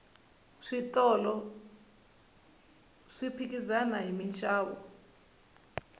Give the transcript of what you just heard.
switolo swi phikizana hi minxavo